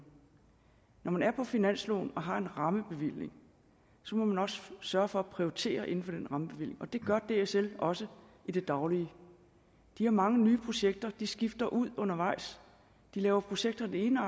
når man er på finansloven og har en rammebevilling må man også sørge for at prioritere inden for den rammebevilling og det gør dsl også i det daglige de har mange nye projekter de skifter ud undervejs de laver projekter af den ene